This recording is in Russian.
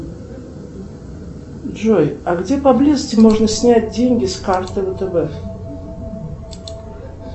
джой а где поблизости можно снять деньги с карты втб